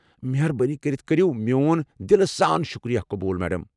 مہربٲنی كرِتھ كریو میون دلہٕ سان شُکریہِ قبوٗل، میڈم۔